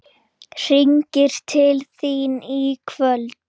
Hringi til þín í kvöld!